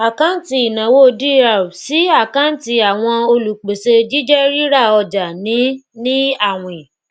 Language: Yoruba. àkáǹtì ìnáwó dr sí àkáǹtì àwọn olùpèsè jíjẹ rírà ọjà ní ní àwìn